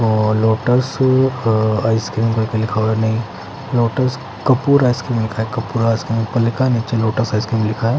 और लोटस अ आइसक्रीम कर के लिखा हुआ है नहीं लोटस कपूर आइसक्रीम लिखा है कपूर आइसक्रीम ऊपर लिखा है नीचे लोटस आइसक्रीम लिखा है ।